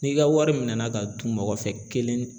N'i ka wari mina ka dun mɔgɔ fɛ kelen